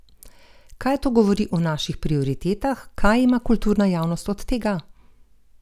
Kaj to govori o naših prioritetah, kaj ima kulturna javnost od tega?